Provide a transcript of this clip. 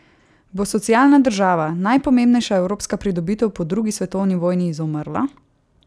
Bo socialna država, najpomembnejša evropska pridobitev po drugi svetovni vojni, izumrla?